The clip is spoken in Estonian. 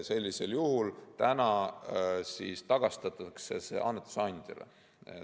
Sellisel juhul tagastatakse see raha praegu annetuse andjale.